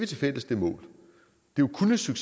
til en men du kan jo så